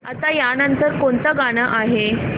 आता या नंतर कोणतं गाणं आहे